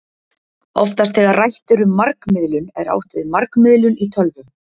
Oftast þegar rætt er um margmiðlun er átt við margmiðlun í tölvum.